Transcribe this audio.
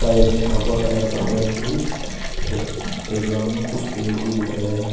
और एक में भगवा कलर का पेंट भी है प्लेग्राउंड में कुछ पेड़ भी दिख रहे हैं।